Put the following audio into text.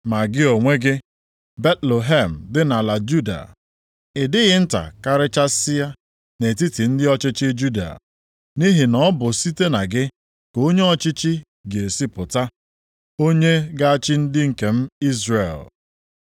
“ ‘Ma gị onwe gị, Betlehem, dị nʼala Juda, ị dịghị nta karịchasịa nʼetiti ndị ọchịchị Juda, nʼihi na ọ bụ site na gị ka onye ọchịchị ga-esi pụta, onye ga-achị ndị nke m Izrel.’ + 2:6 \+xt Mai 5:2\+xt*”